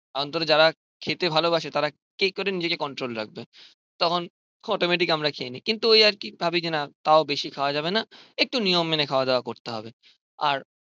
অন্তরে যারা খেতে ভালোবাসে তারা কি করে নিজেকে কন্ট্রোল রাখবে. তখন অটোমেটিক আমরা খেয়ে নিই. কিন্তু ওই আর কি ভাবি যে না তাও বেশি খাওয়া যাবে না. একটু নিয়ম মেনে খাওয়া দাওয়া করতে হবে আর